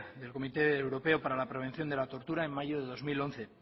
del comité europeo para la prevención de la tortura en mayo de dos mil once